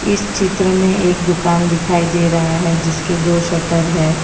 इस चित्र में एक दुकान दिखाई दे रहा है जिसके दो शटर है।